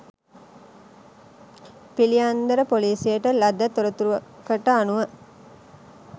පිළියන්දල ‍පොලීසියට ලද තොරතුරකට අනුව